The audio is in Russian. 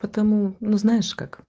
потому ну знаешь